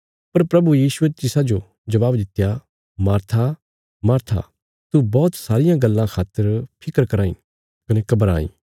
पर प्रभु यीशुये तिसाजो जबाब दित्या मार्था मार्था तू बौहत सारियां गल्लां खातर फिक्र कराँ इ कने घबराईं